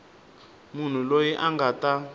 munhu loyi a nga ta